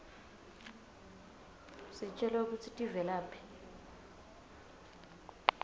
sitjelwa kutsi tivelaphi